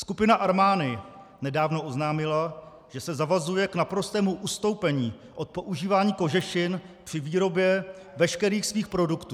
Skupina Armani nedávno oznámila, že se zavazuje k naprostému ustoupení od používání kožešin při výrobě veškerých svých produktů.